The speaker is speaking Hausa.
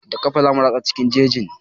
Da ƙafa zamu ratsa ta cikin jejin.